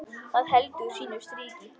Það heldur sínu striki.